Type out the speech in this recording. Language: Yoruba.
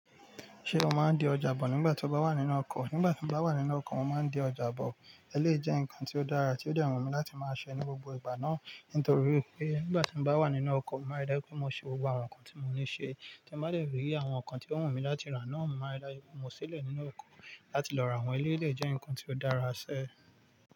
Ṣé o máa ń di ọjà bọ̀ nígbà tí o bá wà nínú ọkọ̀? Nígbà tí mo bá wà nínú ọkọ̀, mo máa ń di ọjà bọ̀. Ẹ lé jẹ́ ǹkan tí ó dára, tí ó dẹ̀ wùmí láti máa ṣe ní gbogbo ìgbà náà. Nítorí pé nígbà tí mo bá wà nínú ọkọ̀, mo máa rẹ̀ dájú pé mo ṣe gbogbo àwọn nǹkan tí mo ní ṣe. Tí mo bá dẹ̀rí àwọn nǹkan tí ó wù mí láti rà náà, mo máa rẹ̀ dájú pé mo ṣílẹ̀ nínú ọkọ̀ láti lọ rà wọ́n. É lé jẹ́ ǹkan tí ó dára ṣẹ.